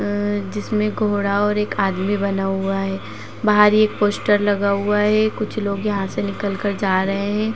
अ जिसमें घोड़ा और एक आदमी बना हुआ है बाहर एक पोस्टर लगा हुआ है कुछ लोग यहाँ से निकलकर जा रहे हैं।